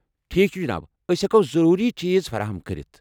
ٹھیٖکھ چھُ، جناب۔ ٲسہِ ہیٚکَو ضروٗری چیٖز فراہَم کٔرِتھ۔